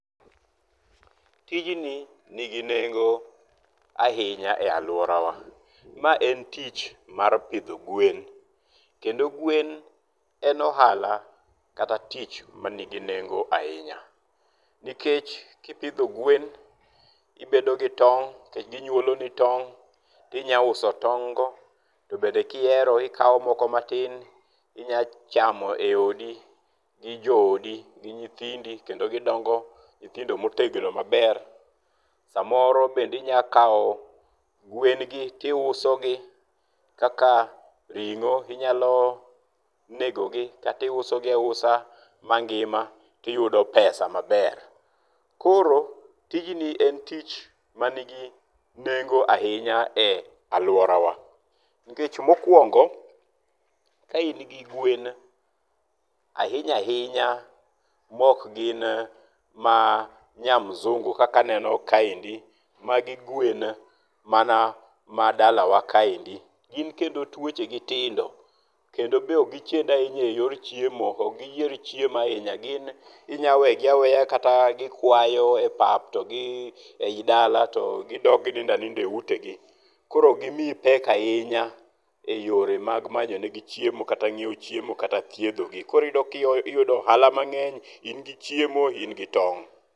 Tijni ni gi nengo ahinya e aluora wa. Ma en tich mar pidho gwen. Kendo gwen en ohala kata tich manigi nengo ahinya. Nikech kipidho gwen ibedo gi tong' to ginyuolo ni tong', ti nyalo uso tong' go. To bende kihero ikawo moko matin inyalo chamo e odi gi jo odi, gi nyithindi kendo gidongo nyithindo motegno maber, Samoro bendi inya kawo gwen gi to iuso gi kaka ring'o. Inyalo negogi kata iuso gi ausa mangima to iyudo pesa maber. Koro tijni en tich manigi nengo ahinya e aluora wa. Nikech mokwongo, kaingi gwen ahinya ahinya mok gin ma nyamzungu kaka aneno kaendi magi gwen mana ma dala wa kaendi. Gin kendo tuoche gi tindo. Kendo be ok gi chend ahinya e yor chiemo, ok giyier chiemo ahinya. Gin inyalo weyo gi aweya kata gikwayo e pap to gi eyi dala to gidok ginindo aninda e ute gi. Koro ok gimiyi pek ahinya e yore mag manyo negi chiemo kata ngiewo chiemo kata thiedhogi. Koro iyudo ohala mang'eny. in gi chiemo in gi tong'.